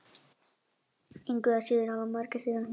Engu að síður hafa mörgæsir hné.